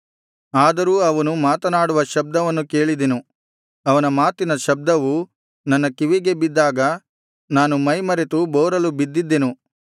ಆದರೂ ಅವನು ಮಾತನಾಡುವ ಶಬ್ದವನ್ನು ಕೇಳಿದೆನು ಅವನ ಮಾತಿನ ಶಬ್ದವು ನನ್ನ ಕಿವಿಗೆ ಬಿದ್ದಾಗ ನಾನು ಮೈಮರೆತು ಬೋರಲು ಬಿದ್ದಿದ್ದೆನು